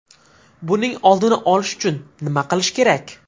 Buning oldini olish uchun nima qilish kerak?